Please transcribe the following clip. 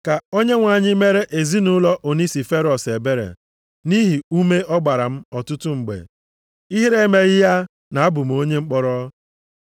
Ka Onyenwe anyị mere ezinaụlọ Onisiferọs ebere, nʼihi ume ọ gbara m ọtụtụ mgbe. Ihere emeghị ya na-abụ m onye mkpọrọ.